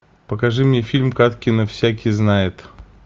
покажи мне фильм кадкина всякий знает